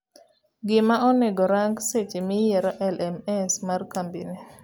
Gima onego rang seche miyiero LMS mar kambini.